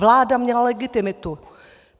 Vláda měla legitimitu.